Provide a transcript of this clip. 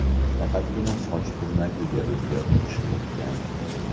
Faqatgina soch turmagiga o‘zgartirish kiritgan.